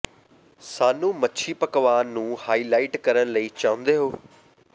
ਸਾਨੂੰ ਮੱਛੀ ਪਕਵਾਨ ਨੂੰ ਹਾਈਲਾਈਟ ਕਰਨ ਲਈ ਚਾਹੁੰਦੇ ਹੋ